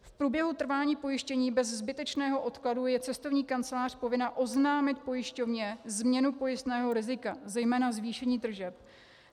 V průběhu trvání pojištění bez zbytečného odkladu je cestovní kancelář povinna oznámit pojišťovně změnu pojistného rizika, zejména zvýšení tržeb.